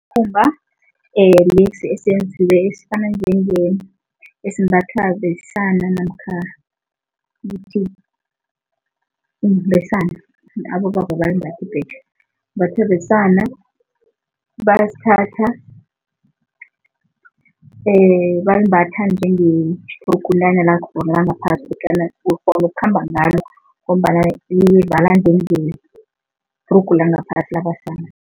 Lesi esifana esimbathwa besana namkha ukuthi besana, abobaba abalimbathi ibhetjha. Imbathwa besana, basithatha bayimbatha njengebhrugunyana langaphasi kodwana ukghona ukukhamba ngalo ngombana livala njengebhrugu langaphasi labesana.